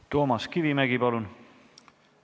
Toomas Kivimägi, palun!